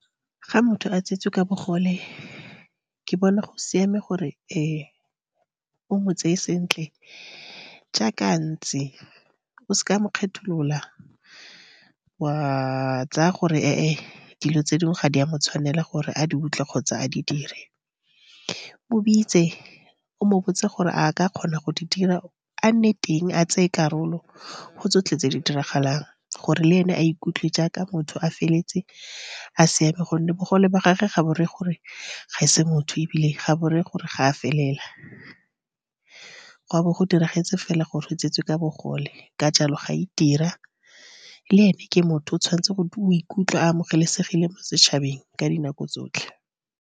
Fa motho a tsetswe ka bogole, ke bona go siame gore o mo tseye sentle jaaka a ntse. O seka wa mo kgetholola, wa tsaya gore dilo tse dingwe ga di a mo tshwanela gore a di utlwe kgotsa a di dire. Mobitse o mobotse gore a ka kgona go di dira, a nne teng, a tseye karolo go tsotlhe tse di diragalang gore le ene a ikutlwe jaaka motho a feletse a siame. Gonne bogole ba gagwe ga bo reye gore ga ese motho, ebile ga bo reye gore ga a felela. Go a bo go diragetse fela gore o tswetswe ka bogole. Ka jalo, ga itira le ene ke motho. O tshwanetse go, o ikutlwa a amogelesegile mo setšhabeng ka dinako tsotlhe.